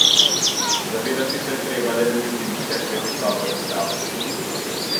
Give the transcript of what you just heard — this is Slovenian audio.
Zavedati se je treba, da je bil tudi Mitja Krevs dobro pripravljen.